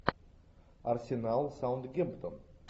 арсенал саутгемптон